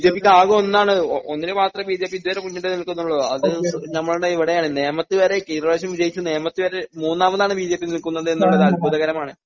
ബിജെപിക്ക് ആകെ ഒന്നാണ് ഒന്നിനുമാത്രം ബിജെപി ഇതുവരെ മുന്നിട്ടുനിൽക്കുന്നുള്ളൂ അത് നമ്മുടെ ഇവിടെയാണ് നേമത്ത് വരെ കഴിഞ്ഞ പ്രാവശ്യം വിജയിച്ച നേമത്ത് വരെ മൂന്നാമതാണ് ബിജെപി നിൽക്കുന്നത് എന്നുള്ളത് അത്ഭുതകരമാണ്.